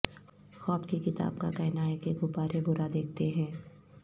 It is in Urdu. خواب کی کتاب کا کہنا ہے کہ غبارے برا دیکھتے ہیں